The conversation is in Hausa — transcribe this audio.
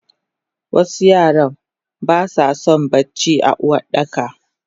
Wasu yaran basason bacci a Uwardaka.